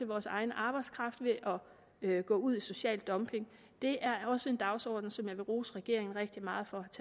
vores egen arbejdskraft ved at gå ud i social dumping det er også en dagsorden som jeg vil rose regeringen rigtig meget for